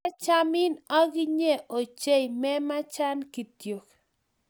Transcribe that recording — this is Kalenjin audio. Kiachamin uginye ochei memachan kityok